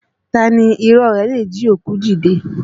Taa ni irọ́ rẹ̀ le jí òkú dìde?